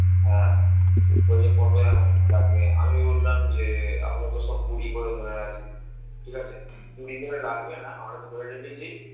হ্যাঁ বলছে কত লাগবে আমি বললাম যে আমরাতো সব কুড়ি করে ধরে আছি ঠিক আছি কুড়ি করে লাগবে না আমরা ধরে রেখেছি